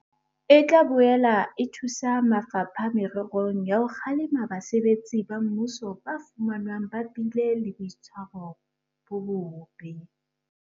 E tla boela e thusa mafapha mererong ya ho kgalema basebetsi ba mmuso ba fumanwang ba bile le boitshwaro bo bobe.